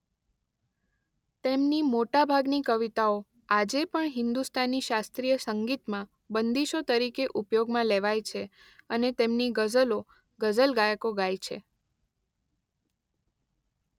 તેમની મોટા ભાગની કવિતાઓ આજે પણ હિન્દુસ્તાની શાસ્ત્રીય સંગીતમાં બંદીશો તરીકે ઉપયોગમાં લેવાય છે અને તેમની ગઝલો ગઝલ ગાયકો ગાય છે.